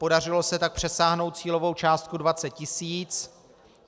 Podařilo se tak přesáhnout cílovou částku 20 tisíc.